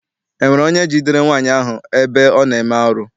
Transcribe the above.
Ọ nwere onye jidere nwaanyị ahụ ebe ọ na-eme arụ?